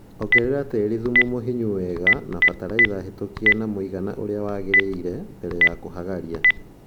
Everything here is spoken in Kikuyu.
Ongerera tĩri thumu mũhinyu wega na batalaitha hetũkie na mũigana ũria wagĩrĩire mbele ya kũhagaria